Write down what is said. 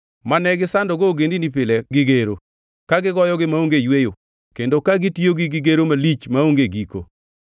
mane gisandogo ogendini pile gi gero ka gigoyogi maonge yweyo, kendo ka gitiyogi gi gero malich maonge giko.